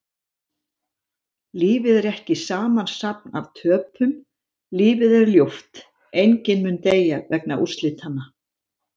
Lífið er ekki samansafn af töpum, lífið er ljúft, enginn mun deyja vegna úrslitanna.